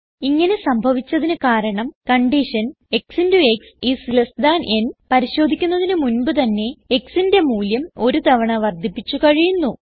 ഇങ്ങനെ സംഭവിച്ചതിന് കാരണം condition x into x is less than n പരിശോധിക്കുന്നതിന് മുൻപ് തന്നെ xന്റെ മൂല്യം ഒരു തവണ വർദ്ധിപ്പിച്ച് കഴിയുന്നു